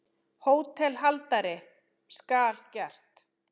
HÓTELHALDARI: Skal gert.